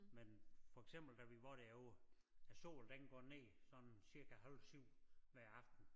Men for eksempel da vi var derovre æ sol den går ned sådan cirka halv syv hver aften